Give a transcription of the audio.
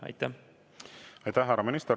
Aitäh, härra minister!